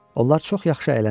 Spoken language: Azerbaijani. Onlar çox yaxşı əylənirdilər.